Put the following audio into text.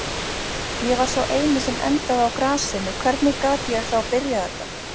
Ég var sá eini sem endaði á grasinu, hvernig gat ég þá byrjað þetta?